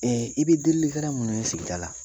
Ee i bɛ dilikɛla minnu ye sigida la